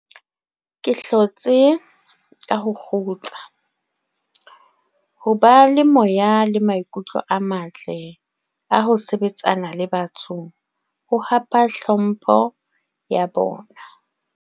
Ke hlotse hona ka ho kgutsa, ho ba le moya le maikutlo a matle a ho sebetsana le batho ho hapa tlhompho ya bona.